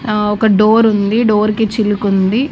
ఆ ఒక దోరుంది డోర్ కి చిలుకుంది.